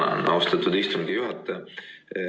Ma tänan, austatud istungi juhataja!